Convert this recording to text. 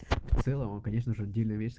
конечно же